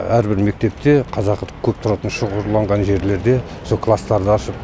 әрбір мектепте қазақ көп тұратын шоғырланған жерлерде сол класстарды ашып